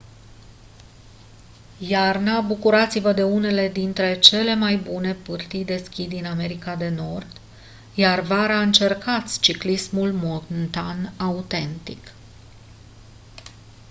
iarna bucurați-vă de unele dintre cele mai bune pârtii de schi din america de nord iar vara încercați ciclismul montan autentic